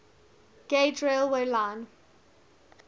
gauge railway line